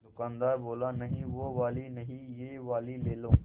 दुकानदार बोला नहीं वो वाली नहीं ये वाली ले लो